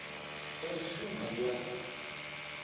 dza u shuma i a